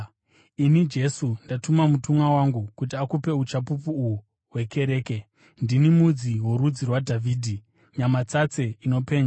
“Ini Jesu, ndatuma mutumwa wangu kuti akupe uchapupu uhu hwekereke. Ndini mudzi worudzi rwaDhavhidhi, Nyamasase inopenya.”